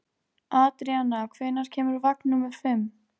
Adríana, hvenær kemur vagn númer fimm?